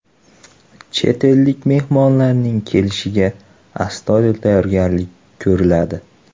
Chet ellik mehmonlarning kelishiga astoydil tayyorgarlik ko‘riladi.